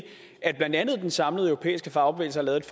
at blandt andet den samlede europæiske fagbevægelse har lavet